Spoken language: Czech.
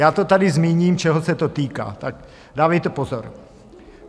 Já to tady zmíním, čeho se to týká, tak dávejte pozor.